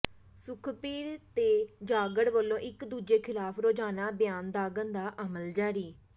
ਸੁਖਬੀਰ ਤੇ ਜਾਖੜ ਵੱਲੋਂ ਇਕ ਦੂਜੇ ਖਿਲਾਫ ਰੋਜ਼ਾਨਾ ਬਿਆਨ ਦਾਗਣ ਦਾ ਅਮਲ ਜਾਰੀ